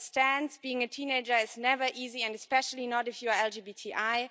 As it stands, being a teenager is never easy, and especially not if you're LGBTI.